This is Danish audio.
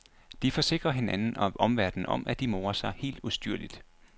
De forsikrer hinanden og omverdenen om, at de morer sig helt ustyrligt.